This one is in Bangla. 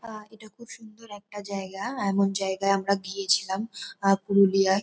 আ এটা খুব সুন্দর একটা জায়গা। এমন জায়গায় আমরা গিয়েছিলাম আ পুরুলিয়ায়।